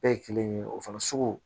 Bɛɛ ye kelen ye o fana sugu